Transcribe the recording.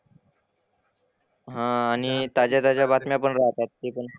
हां आणि ताज्या ताज्या बातम्या पण राहतात ते पण.